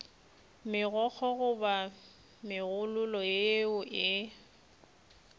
megokgo goba megololo yeo e